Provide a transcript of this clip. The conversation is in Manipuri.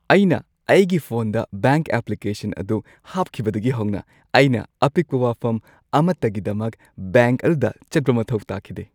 ꯑꯩꯅ ꯑꯩꯒꯤ ꯐꯣꯟꯗ ꯕꯦꯡꯛ ꯑꯦꯄ꯭ꯂꯤꯀꯦꯁꯟ ꯑꯗꯨ ꯍꯥꯞꯈꯤꯕꯗꯒꯤ ꯍꯧꯅ, ꯑꯩꯅ ꯑꯄꯤꯛꯄ ꯋꯥꯐꯝ ꯑꯃꯠꯇꯒꯤꯗꯃꯛ ꯕꯦꯡ꯭ꯛ ꯑꯗꯨꯗ ꯆꯠꯄ ꯃꯊꯧ ꯇꯥꯈꯤꯗꯦ꯫